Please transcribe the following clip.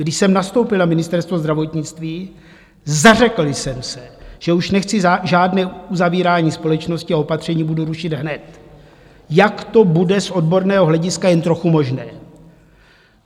Když jsem nastoupil na Ministerstvo zdravotnictví, zařekl jsem se, že už nechci žádné uzavírání společnosti a opatření budu rušit hned, jak to bude z odborného hlediska jen trochu možné.